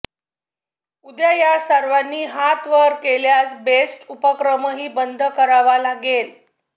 उद्या या सर्वांनी हात वर केल्यास बेस्ट उपक्रमही बंद करावा लागेल